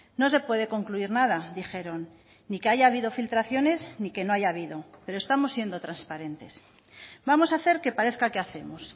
no se puede concluir nada dijeron ni que haya habido filtraciones ni que no haya habido pero estamos siendo transparentes vamos a hacer que parezca que hacemos